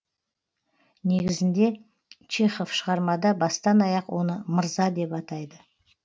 негізінде чехов шығармада бастан аяқ оны мырза деп атайды